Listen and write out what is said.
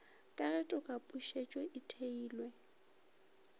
ka ge tokapušetšo e theilwe